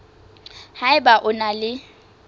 ha eba o na le